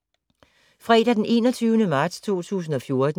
Fredag d. 21. marts 2014